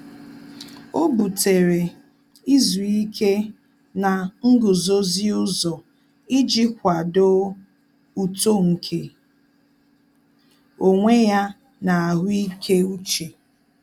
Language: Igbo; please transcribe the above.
Ọ́ bùtéré izu ike na nguzozi ụzọ iji kwàdòọ́ uto nke onwe ya na ahụ́ị́ké úchè.